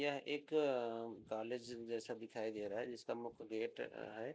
यह एक अ कॉलेज जैसा देखाई दे रहा है जिसका मुख्य गेट है।